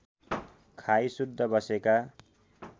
खाई शुद्ध बसेका